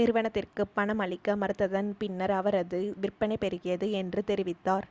நிறுவனத்திற்கு பணம் அளிக்க மறுத்ததன் பின்னர் அவரது விற்பனை பெருகியது என்று தெரிவித்தார்